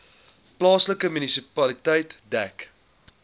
plaaslike munisipaliteit dek